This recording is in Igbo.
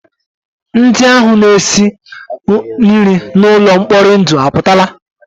Ndị ahụ na-esi nri n'ụlọ mkpori ndụ apụtala?